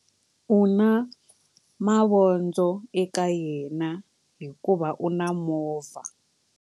U na mavondzo eka yena hikuva u na movha.